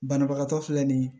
Banabagatɔ filɛ nin ye